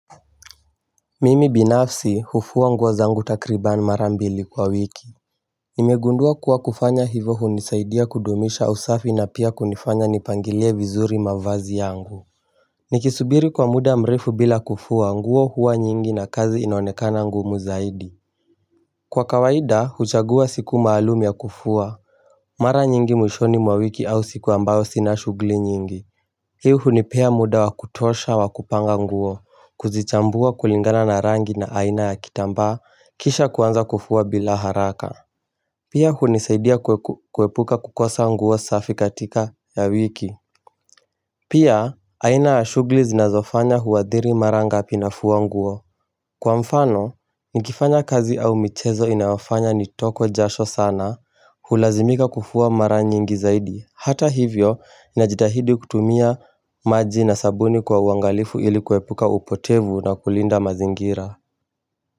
Mimi binafsi hufua nguo zangu takribani mara mbili kwa wiki Nimegundua kuwa kufanya hivyo hunisaidia kudumisha usafi na pia kunifanya nipangilie vizuri mavazi yangu Nikisubiri kwa muda mrefu bila kufua nguo huwa nyingi na kazi inaonekana ngumu zaidi Kwa kawaida huchagua siku maalumu ya kufua Mara nyingi mwishoni mwa wiki au siku ambao sina shughuli nyingi Hii hunipea muda wakutosha wakupanga nguo kujichambua kulingana na rangi na aina ya kitambaa kisha kuanza kufua bila haraka Pia hunisaidia kuepuka kukosa nguo safi katika ya wiki Pia aina ya shughuli zinazofanya huathiri mara ngapi nafua nguo Kwa mfano, nikifanya kazi au michezo inawafanya nitokwe jasho sana hulazimika kufuaa mara nyiingi zaidi Hata hivyo, najitahidi kutumia maji na sabuni kwa uangalifu ili kuepuka upotevu na kulinda mazingira.